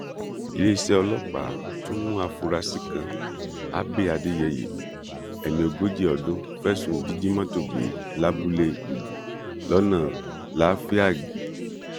iléeṣẹ ọlọpàá tún mú àfúrásì kan abbey adéyẹyẹ ẹni ogójì ọdún fẹsùn jíjí mọtò gbé lábúlé gbúgbú lọnà láfíàgì